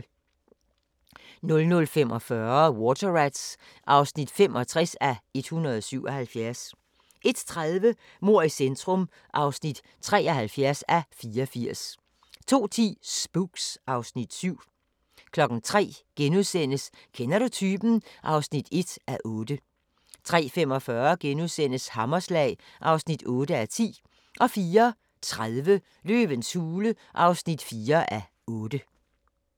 00:45: Water Rats (65:177) 01:30: Mord i centrum (73:84) 02:10: Spooks (Afs. 7) 03:00: Kender du typen? (1:8)* 03:45: Hammerslag (8:10)* 04:30: Løvens hule (4:8)